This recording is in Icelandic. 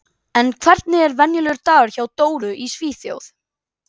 En hvernig er venjulegur dagur hjá Dóru í Svíþjóð?